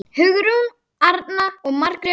Hugrún Arna og Margrét Dögg.